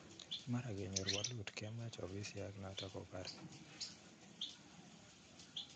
Mara kenyor welut kemach ofisiak nato kopare